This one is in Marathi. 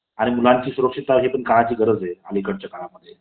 आणि मुलांची सुरक्षितता हि पण काळाची गरज आहे अलीकडच्या काळामध्ये .